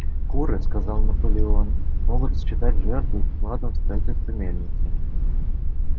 куры сказал наполеон могут считать жертву вкладом в строительство мельницы